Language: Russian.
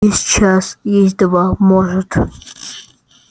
есть час есть два может